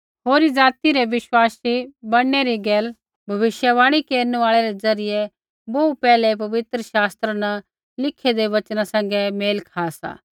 होरी ज़ाति री बिश्वासी बणनै री गैल भविष्यवाणी केरनु आल़ै रै ज़रियै बोहू पैहलै पवित्र शास्त्रा न लिखेदै वचना सैंघै मेल खा सा